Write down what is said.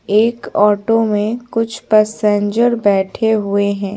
एक ऑटो में कुछ पैसेंजर बैठे हुए हैं।